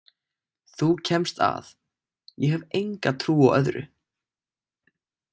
Þú kemst að, ég hef enga trú á öðru!